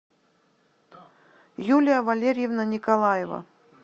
юлия валерьевна николаева